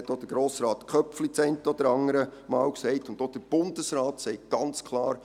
Auch Grossrat Köpfli hat dies das eine oder andere Mal gesagt, und auch der Bundesrat sagt es ganz klar: